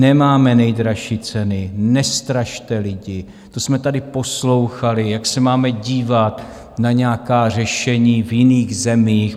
Nemáme nejdražší ceny, nestrašte lidi - to jsme tady poslouchali, jak se máme dívat na nějaká řešení v jiných zemích.